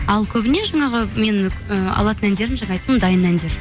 ал көбіне жаңағы мен ы алатын әндерім жаңа айттым дайын әндер